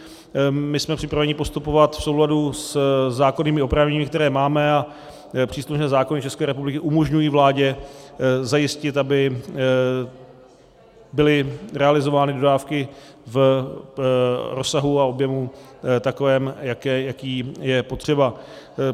My jsme připraveni postupovat v souladu se zákonnými oprávněními, která máme, a příslušné zákony České republiky umožňují vládě zajistit, aby byly realizovány dodávky v rozsahu a objemu takovém, jaký je potřeba.